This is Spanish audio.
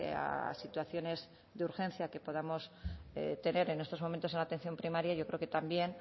a situaciones de urgencia que podamos tener en estos momentos en la atención primaria yo creo que también